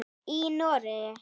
Í Noregi